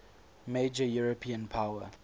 major european power